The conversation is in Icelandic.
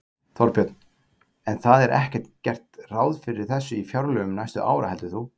Þorbjörn: En það er ekkert gert ráð fyrir þessu í fjárlögum næstu ára heldur þú?